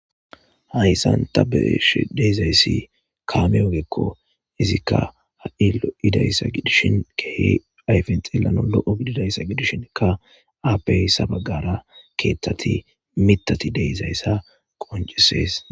Haysa ta bea'she duzaysika kame ogeko izika hai'loi'zaysa kehi ayfen xelanaw loo'gidizaysa gidishinka appe ha bagara ketati, miththati dizaysa qoncises